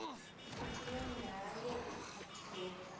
fetile nywaga ye e atilego